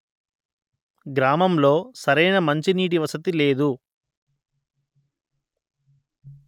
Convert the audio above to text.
గ్రామంలో సరైన మంచినీటి వసతి లేదు